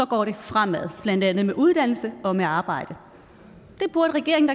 går det fremad blandt andet med uddannelse og med arbejde det burde regeringen